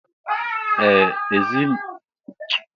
Ee! Ezinụlọ Ezeji ga-azacha àmà obodo echi.